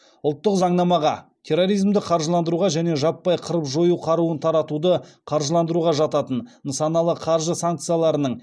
ұлттық заңнамаға терроризмді қаржыландыруға және жаппай қырып жою қаруын таратуды қаржыландыруға жататын нысаналы қаржы санкцияларының